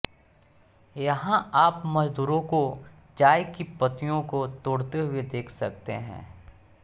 यहां आप मजदूरों को चाय की पत्तियों को तोड़ते हुए देख सकते हैं